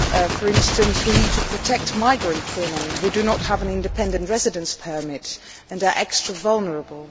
For example, we need to protect migrant women who do not have an independent residence permit and are extra vulnerable.